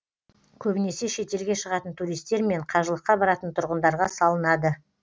көбінесе шетелге шығатын туристер мен қажылыққа баратын тұрғындарға салынады